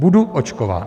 Budu očkován.